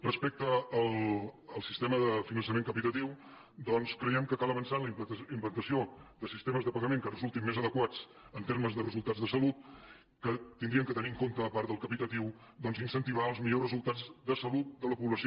respecte al sistema de finançament capitatiu doncs creiem que cal avançar en la implantació de sistemes de pagament que resultin més adequats en termes de resultats de salut que haurien de tenir en compte a part del capitatiu incentivar els millors resultats de sa·lut de la població